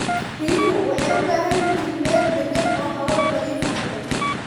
Riyuhu waxay u baahan yihiin meel deggan oo hawo nadiif ah leh.